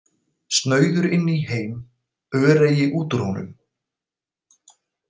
Snauður inn í heim, öreigi út úr honum.